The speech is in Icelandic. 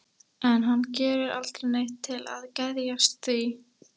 En hann gerir aldrei neitt til þess að geðjast því.